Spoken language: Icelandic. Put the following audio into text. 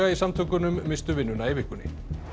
samtökunum misstu vinnuna í vikunni